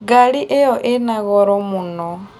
Ngarĩ ĩyo ĩna ng'oro mũno